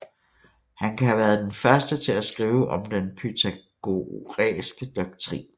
Han kan have været den første til at skrive om den pythagoræske doktrin